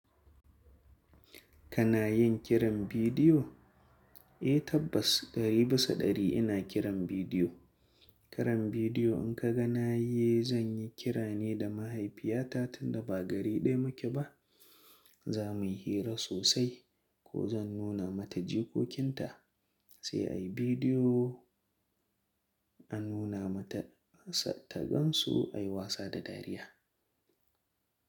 Kana yin kiran bidiyo? Eh tabbas ɗari bisa ɗari ina kiran bidiyo. Kiran bidiyo in ka ga na yi, zan yi kira ne da mahaifiyata tunda ba gari ɗaya muke ba. Za mu yi hira sosai ko zan nuna mata jikokinta, sai a yi bidiyo a nuna mata ta gan su, a yi wasa da dariya.